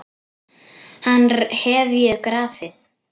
Hann hef ég grafið.